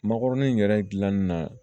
Makɔrɔni in yɛrɛ dilanni na